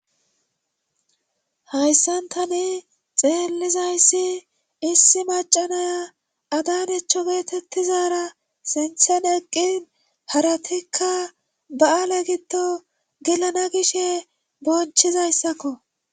Hayssantani xeellizayssi issi macanaya adanecho geetettizara sinthene eqqin haratikka ba7aala gito gilana gishe bonchizayssakko.